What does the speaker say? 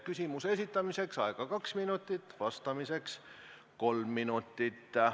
Küsimuse esitamiseks on aega 2 minutit ja vastamiseks 3 minutit.